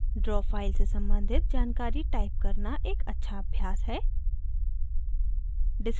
draw file से सम्बंधित जानकारी type करना एक अच्छा अभ्यास है